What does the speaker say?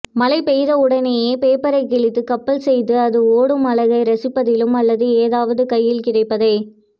மழைபெய்தவுடனே பேப்பரைக்கிழித்து கப்பல்செய்து அது ஓடும் அழகை ரசிப்பதிலும் அல்லது எதாவது கையில் கிடைப்பதை